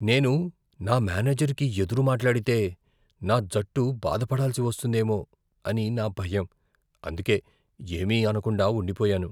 నేను నా మేనేజర్కి ఎదురు మాట్లాడితే, నా జట్టు బాధపడాల్సి వస్తుందేమో అని నా భయం ,అందుకే ఏమీ అనకుండా ఉండిపోయాను.